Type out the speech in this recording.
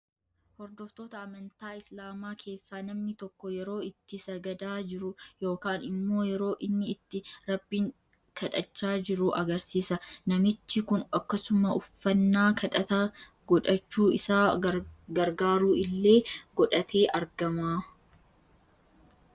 Hordoftoota amantaa islaamaa keessa namni tokko yeroo itti sagadaa jiru yookaan immoo yeroo inni itti rabbiin kadhachaa jiru agarsiisa. Namichi kun akkasuma uffannaa kadhata godhachuu isa gargaaru illee godhatee argama.